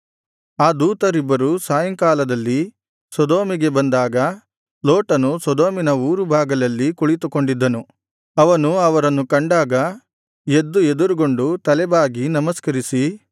ಆ ದೂತರಿಬ್ಬರು ಸಾಯಂಕಾಲದಲ್ಲಿ ಸೊದೋಮಿಗೆ ಬಂದಾಗ ಲೋಟನು ಸೊದೋಮಿನ ಊರು ಬಾಗಿಲಲ್ಲಿ ಕುಳಿತುಕೊಂಡಿದ್ದನು ಅವನು ಅವರನ್ನು ಕಂಡಾಗ ಎದ್ದು ಎದುರುಗೊಂಡು ತಲೆ ಬಾಗಿ ನಮಸ್ಕರಿಸಿ